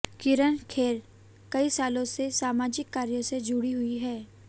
किरण खेर कई सालों से सामाजिक कार्यों से जुड़ी हुई हैं